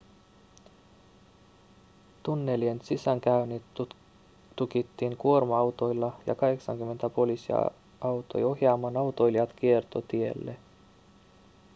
tunnelien sisäänkäynnit tukittiin kuorma-autoilla ja 80 poliisia auttoi ohjaamaan autoilijat kiertotielle